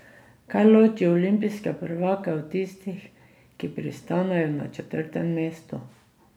Kaj loči olimpijske prvake od tistih, ki pristanejo na četrtem mestu?